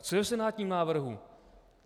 Co je v senátním návrhu?